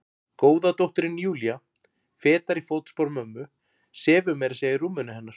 Góða dóttirin Júlía, fetar í fótspor mömmu, sefur meira að segja í rúminu hennar.